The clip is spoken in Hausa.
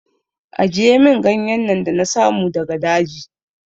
Ajiye min ganyen nan da na samu daga daji!